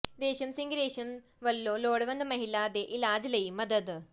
ਰੇਸ਼ਮ ਸਿੰਘ ਰੇਸ਼ਮ ਵੱਲੋਂ ਲੋੜਵੰਦ ਮਹਿਲਾ ਦੇ ਇਲਾਜ ਲਈ ਮਦਦ